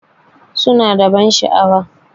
Suna da ban sha'awa.